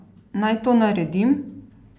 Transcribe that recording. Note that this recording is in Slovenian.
Naj to naredim?